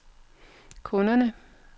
kunderne